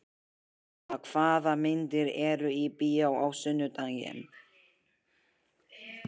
Ada, hvaða myndir eru í bíó á sunnudaginn?